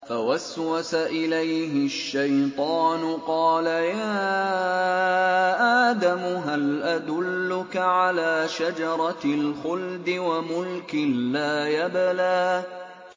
فَوَسْوَسَ إِلَيْهِ الشَّيْطَانُ قَالَ يَا آدَمُ هَلْ أَدُلُّكَ عَلَىٰ شَجَرَةِ الْخُلْدِ وَمُلْكٍ لَّا يَبْلَىٰ